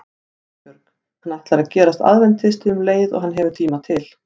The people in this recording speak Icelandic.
GUÐBJÖRG: Hann ætlar að gerast aðventisti um leið og hann hefur tíma til.